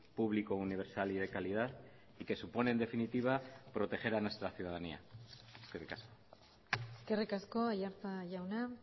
público universal y de calidad y que supone en definitiva proteger a nuestra ciudadanía eskerrik asko eskerrik asko aiartza jauna